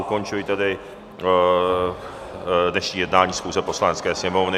Ukončuji tedy dnešní jednání schůze Poslanecké sněmovny.